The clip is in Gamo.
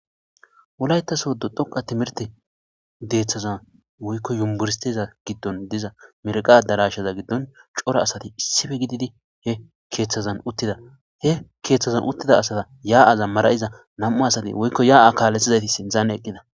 Wolayita sodo dhoqa timirite keetha dethasoy woyikko yuniberestiza giddon diza mireqa adarasheza gidon dizayissa cora asati assippe gididi he kethaza giddon utti detees he ketha gddon utti diza asa maraza namu asati woyikko haya ha kalethizayiti sinthan eqida